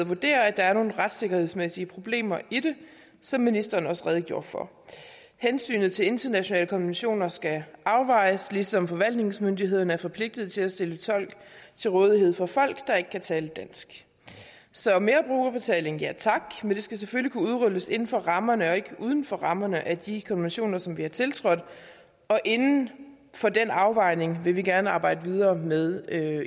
vurderer at der er nogle retssikkerhedsmæssige problemer i det som ministeren også redegjorde for hensynet til internationale konventioner skal afvejes ligesom forvaltningsmyndighederne er forpligtet til at stille tolke til rådighed for folk der ikke kan tale dansk så mere brugerbetaling ja tak men det skal selvfølgelig kunne udrulles inden for rammerne og ikke uden for rammerne af de konventioner som vi har tiltrådt og inden for den afvejning vil vi gerne arbejde videre med